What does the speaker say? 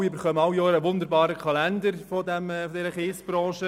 Ich denke, wir erhalten alle den wunderbaren Kalender der Kiesbranche.